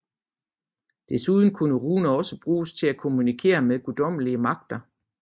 Desuden kunne runer også bruges til at kommunikere med guddommelige magter